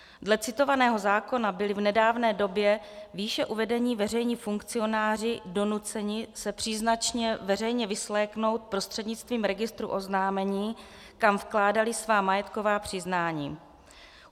Dle citovaného zákona byly v nedávné době výše uvedení veřejní funkcionáři donuceni se příznačně veřejně vysvléknout prostřednictvím registru oznámení, kam vkládali svá majetková přiznání.